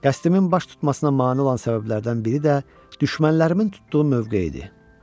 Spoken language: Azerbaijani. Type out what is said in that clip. Qəsdimin baş tutmasına mane olan səbəblərdən biri də düşmənlərimin tutduğu mövqe idi.